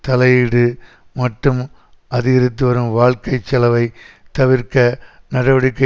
தலையீடு மற்றும் அதிகரித்து வரும் வாழ்க்கை செலவை தவிர்க்க நடவடிக்கை